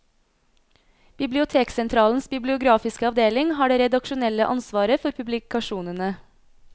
Biblioteksentralens bibliografiske avdeling har det redaksjonelle ansvaret for publikasjonene.